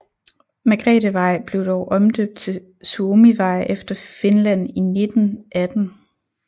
Margrethevej blev dog omdøbt til Suomivej efter Finland i 1918